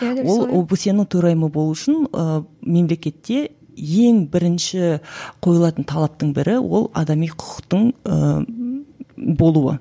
ол обсе нің төрайымы болу үшін ыыы мемлекетте ең бірінші қойылатын талаптың бірі ол адами құқықтың ыыы болуы